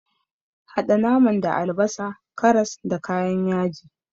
Haɗa naman da albasa, karas, da kayan yaji.